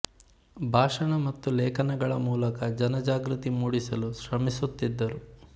ಭಾಷಣ ಮತ್ತು ಲೇಖನಗಳ ಮೂಲಕ ಜನ ಜಾಗೃತಿ ಮೂಡಿಸಲು ಶ್ರಮಿಸುತ್ತಿದ್ದರು